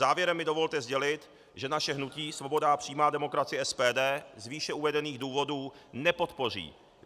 Závěrem mi dovolte sdělit, že naše hnutí Svoboda a přímá demokracie, SPD, z výše uvedených důvodů nepodpoří